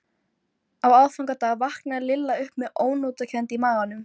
Á aðfangadag vaknaði Lilla upp með ónotakennd í maganum.